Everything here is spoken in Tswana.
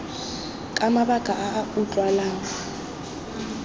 ka mabaka a a utlwalang